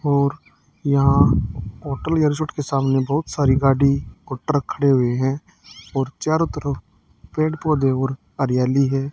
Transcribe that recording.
और यहां होटल या रिसॉर्ट के सामने बहुत सारी गाड़ी ओ ट्रक खड़े हुए हैं और चारों तरफ पेड़ पौधे और हरियाली है।